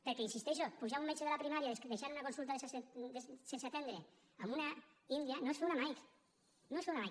perquè hi insisteixo pujar un metge de la primària deixant una consulta sense atendre amb una india no és fer una mike no és fer una mike